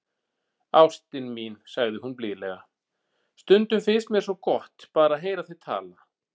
Ástin mín, sagði hún blíðlega,- stundum finnst mér svo gott, bara að heyra þig tala.